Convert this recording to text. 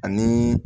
Ani